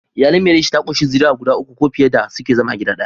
Iyali mai reshe ta kunshi zuriya guda uku ko fiye da suke zama a gida daya.